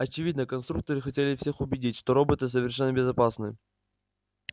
очевидно конструкторы хотели всех убедить что роботы совершенно безопасны